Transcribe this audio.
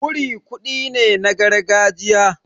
Wuri kuɗi ne na gargajiya.